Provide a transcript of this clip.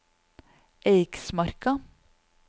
Eiksmarka